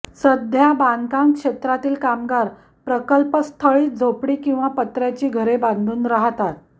सध्या बांधकाम क्षेत्रातील कामगार प्रकल्पस्थळीच झोपडी किंवा पत्र्याची घरे बांधून राहतात